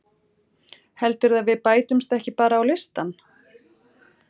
Heldurðu að við bætumst ekki bara á listann?